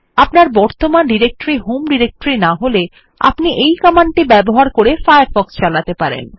আপনার বর্তমান directory home directory না হলে আপনি এই কমান্ডটি ব্যবহার করে ফায়ারফ্ক্ষ চালাতে পারেন